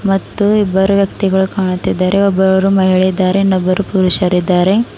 ಮತ್ತು ಇಬ್ಬರು ವ್ಯಕ್ತಿಗಳು ಕಾಣುತ್ತಿದ್ದಾರೆ ಒಬ್ಬರು ಮಹಿಳೆ ಇದ್ದಾರೆ ಇನ್ನೊಬ್ಬರು ಪುರುಷರಿದ್ದಾರೆ.